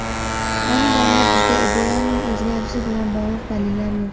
Ayni damda bizda Ebolaning o‘zgarishi bilan bog‘liq dalillar yo‘q.